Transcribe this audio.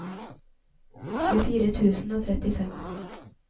tjuefire tusen og trettifem